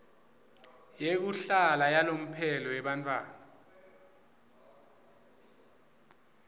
yekuhlala yalomphelo yemntfwana